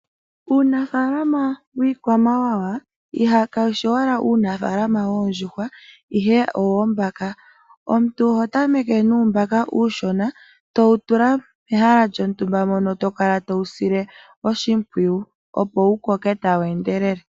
Uunafalama wiikwamawawa kawu shi owala uunafalama woondjuhwa, owoombaka wo. Omuntu oho tameke nuumbaka uushona to wu tula mehala lyontumba mono to kala to wu sile oshimpwiyu, opo wu koke tawu endelele.